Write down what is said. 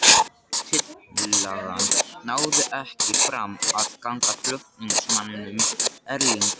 Tillagan náði ekki fram að ganga flutningsmanninum, Erlingi